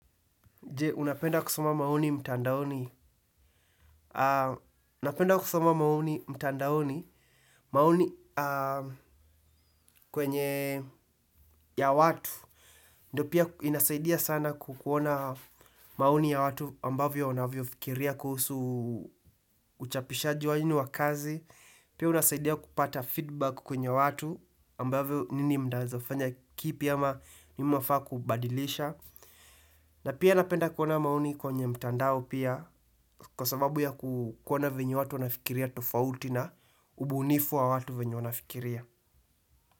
Je, unapenda kusoma maoni mtandaoni. Unapenda kusoma maoni mtandaoni. Mauni kwenye ya watu. Ndiyo pia inasaidia sana kuona maoni ya watu ambavyo wanavyofikiria kuhusu uchapishaji wenyu wa kazi. Pia unasaidia kupata feedback kwenye watu ambavyo nini muda mnaweza fanya kipya ama nini mnafaa kubadilisha. Na pia napenda kuona maoni kwenye mtandao pia kwa sababu ya kuona venye watu wanafikiria tofauti na ubunifu wa watu venye wanafikiria.